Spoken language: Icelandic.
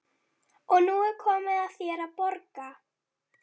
Og nú er komið að þér að borga.